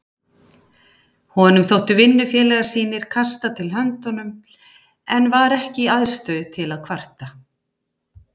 Honum þóttu vinnufélagar sínir kasta til höndunum en var ekki í aðstöðu til að kvarta.